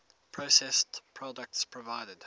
processed products provided